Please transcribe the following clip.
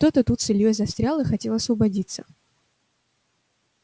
кто-то тут с ильёй застрял и хотел освободиться